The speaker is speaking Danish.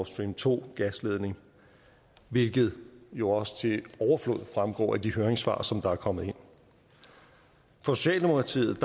stream to gasledning hvilket jo også til overflod fremgår af de høringssvar som der er kommet ind for socialdemokratiet